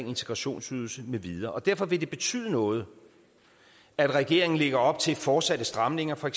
integrationsydelse med videre og derfor vil det betyde noget at regeringen lægger op til fortsatte stramninger for